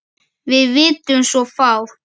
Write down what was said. Við vitum svo fátt.